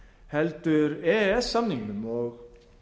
heldur e e s samningnum og